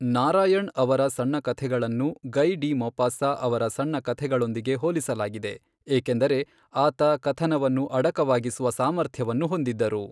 ನಾರಾಯಣ್ ಅವರ ಸಣ್ಣ ಕಥೆಗಳನ್ನು ಗಯ್ ಡಿ ಮೊಪಾಸಾ ಅವರ ಸಣ್ಣ ಕಥೆಗಳೊಂದಿಗೆ ಹೋಲಿಸಲಾಗಿದೆ, ಏಕೆಂದರೆ ಆತ ಕಥನವನ್ನು ಅಡಕವಾಗಿಸುವ ಸಾಮರ್ಥ್ಯವನ್ನು ಹೊಂದಿದ್ದರು.